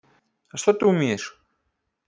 а что ты умеешь